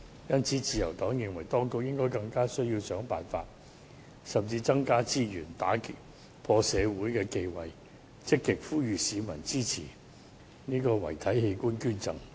因此，自由黨認為，當局更應該想辦法或增加資源，打破社會的忌諱，積極呼籲市民支持遺體器官捐贈。